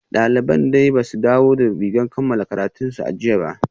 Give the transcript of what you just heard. Daliban dai ba su dawo da rigar kammala karatunsu a jiya ba